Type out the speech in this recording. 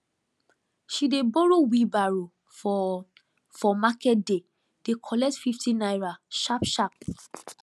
she dey borrow wheelbarrow for for market day dey collect fifty naira sharp sharp